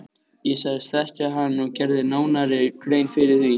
Ég sagðist þekkja hann og gerði nánari grein fyrir því.